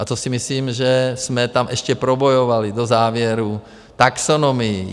A to si myslím, že jsme tam ještě probojovali do závěrů taxonomii.